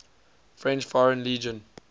french foreign legion